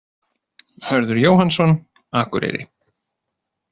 Hörður Jóhannsson, Akureyri